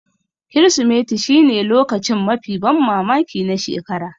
Kirsimeti shine lokacin mafi ban mamaki na shekara